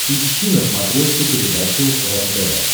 ищи на смотрешке передачу рентв